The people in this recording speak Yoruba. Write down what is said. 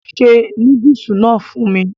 se núdùsì náà fún mi